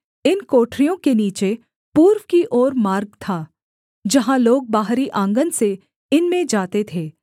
इन कोठरियों के नीचे पूर्व की ओर मार्ग था जहाँ लोग बाहरी आँगन से इनमें जाते थे